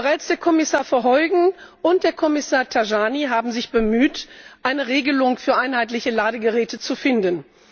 Bereits Kommissar Verheugen und Kommissar Tajani haben sich bemüht, eine Regelung für einheitliche Ladegeräte zu finden.